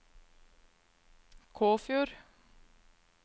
Kåfjord